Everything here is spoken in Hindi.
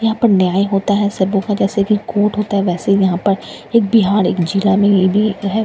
यहां पर न्याय होता है सबों का जैसे कि कोर्ट होता है वैसे ही यहां पर एक बिहाड़ एक जिला में ये भी तो है --